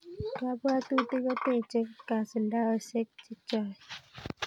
Kabwabutik kotechei kasuldaosek chechoe